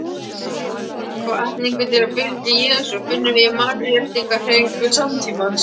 Hvatningu til að fylgja Jesú finnum við í mannréttindahreyfingum samtímans.